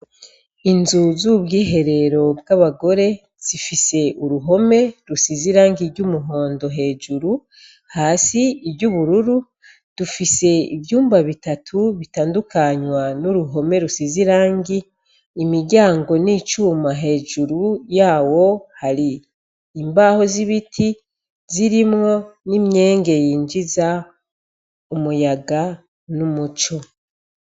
Inzu z'ubwiherero bw'abagore zifise uruhome rusize irangi ry'umuhondo hejuru, hasi iry'ubururu, dufise ivyumba bitatu bitandukanywa n'uruhome rusize irangi, imiryango n'icuma hejuru yawo hari imbaho z'ibiti zirimwo n'imyenge yinjiza umuyaga n'umuco.